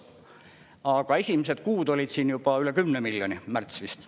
Aga esimesed kuud olid siin juba üle 10 miljoni, märts vist.